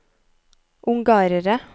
ungarere